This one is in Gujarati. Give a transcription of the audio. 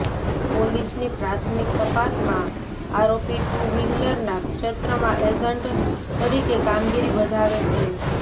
પોલીસની પ્રાથમિક તપાસમાં આરોપી ટુ વ્હીલરના ક્ષેત્રમાં એજન્ટ તરીકે કામગીરી બજાવે છે